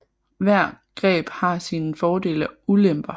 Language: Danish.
Hvert greb har sine fordele og ulemper